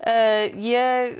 ég